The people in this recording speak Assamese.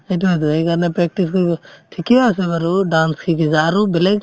সেইটোয়েতো সেইকাৰণে practice লাগিব ঠিকে আছে বাৰু dance শিকিছা আৰু বেলেগ